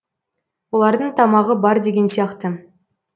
олардың тамағы бар деген сияқты